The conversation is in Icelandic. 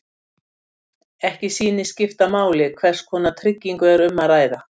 Ekki sýnist skipta máli hvers konar tryggingu er um að ræða.